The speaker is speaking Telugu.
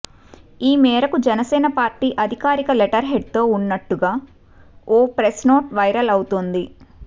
ఈ మేరకు జనసేన పార్టీ అధికారిక లెటర్ హెడ్ తో ఉన్నట్టుగా ఓ ప్రెస్ నోట్ వైరల్ అవుతోంది